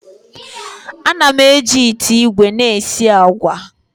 Ana m eji ite igwe na esi agwa.